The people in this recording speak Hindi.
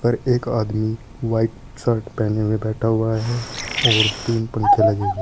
और एक आदमी व्हाइट शर्ट पहने हुए बैठा हुआ है और तीन पंखे लगे हैं।